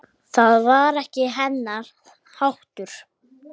Það var ekki hennar háttur.